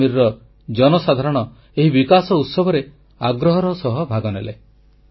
କାଶ୍ମୀରର ଜନସାଧାରଣ ଏହି ବିକାଶ ଉତ୍ସବରେ ଆଗ୍ରହର ସହ ଭାଗନେଲେ